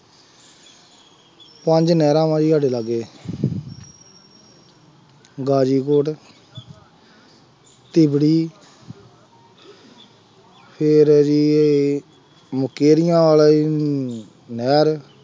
ਪੰਜ ਨਹਿਰਾਂ ਵਾ ਜੀ ਸਾਡੇ ਲਾਗੇ, ਗਾਜ਼ੀਪੁਰ ਤਿਬੜੀ ਫੇਰ ਜੀ ਇਹ ਮੁਕੇਰੀਆਂ ਆਲੀਂ ਨਹਿਰ